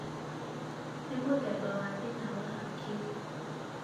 nĩ mũthemba wa thĩna wa hakiri